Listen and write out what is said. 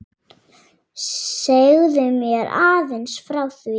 Segðu mér aðeins frá því?